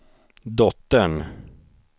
dottern